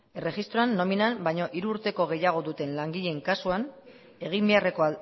erregistroan nominan baino hiru urteko gehiago duten langileen kasuan egin beharreko